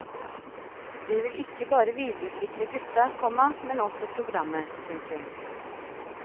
Det vil ikke bare videreutvikle gutta, komma men også programmet. punktum